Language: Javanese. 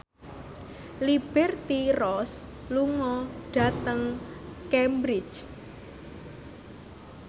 Liberty Ross lunga dhateng Cambridge